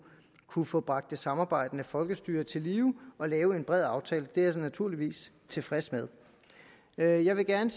kunne få bragt det samarbejdende folkestyre til live og lave en bred aftale det er jeg naturligvis tilfreds med jeg jeg vil gerne